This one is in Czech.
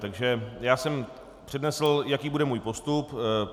Takže já jsem přednesl, jaký bude můj postup.